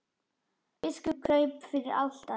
Biskup kraup fyrir altari.